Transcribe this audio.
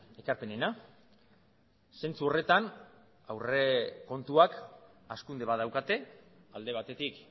ekarpenena zentzu horretan aurrekontuak hazkunde bat daukate alde batetik